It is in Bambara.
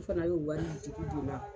U fana y'o wari juru don n na.